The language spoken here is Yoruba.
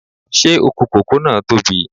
Ṣé oko kòkó náà tóbi?